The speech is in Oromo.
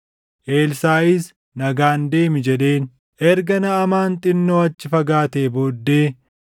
Eelisaaʼis, “Nagaan deemi” jedheen. Erga Naʼamaan xinnoo achi fagaatee booddee,